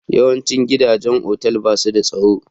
Yawancin gidajen otal ba su da tsaro?